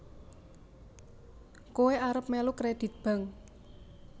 Koe arep melu kredit Bank